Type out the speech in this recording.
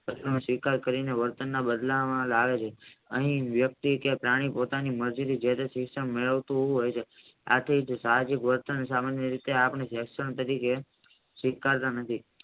તેની સ્વીકાર કરીને વર્તનના બદલામાં લાવે છે અને વ્યક્તિ કે પ્રાણી પોતાની મરજી થી જેતે શિક્ષણ મેળવતું હોય છે આથી બળતણ સામાન્ય રીતે આંખનું રક્ષણ સ્વીકારતા નથી.